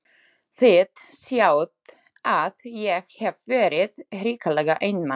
Þið sjáið að ég hef verið hrikalega einmana!